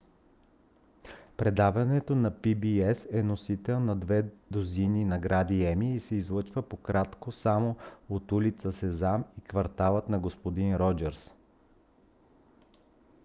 предаването на pbs е носител на над две дузини награди еми и се излъчва по-кратко само от улица сезам и кварталът на г-н роджърс